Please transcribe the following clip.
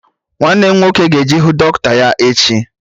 Nwanne m nwoke ga-eje ịhụ dọkịta ya echi